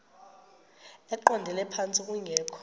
eqondele phantsi kungekho